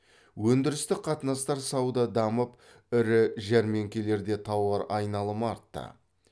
өндірістік қатынастар сауда дамып ірі жәрмеңкелерде тауар айналымы артты